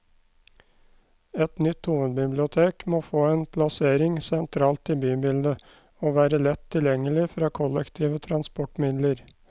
Et nytt hovedbibliotek må få en plassering sentralt i bybildet, og være lett tilgjengelig fra kollektive transportmidler.